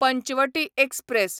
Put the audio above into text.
Panchavati express